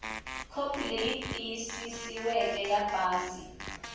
khopi leyi tiyisisiweke ya pasi